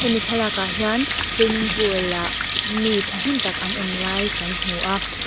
mi thlalâkah hian swimming pool ah mi ṭhahnem tak an awm lai kan hmu a.